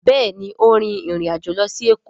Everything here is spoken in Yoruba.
Béèni o rìn ìrin àjọ ló sì Eko.